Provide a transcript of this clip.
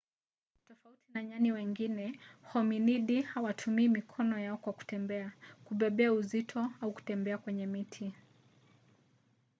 tofauti na nyani wengine hominidi hawatumii mikono yao kwa kutembea kubebea uzito au kubembea kwenye miti